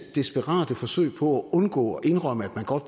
desperate forsøg på at undgå at indrømme at man godt